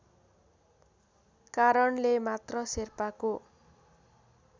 कारणले मात्र शेर्पाको